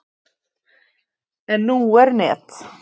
En nú er net.